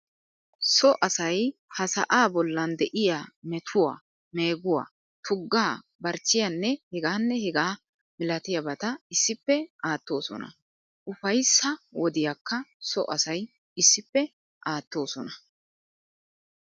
So asay ha sa"aa bollan de'iya metuwaa, meeguwaa, tuggaa, barchchiyaanne hegaanne hegaa milatiyabata issippe aattoosona. Ufayssaa wodiyakka so asay issippe aattoosona.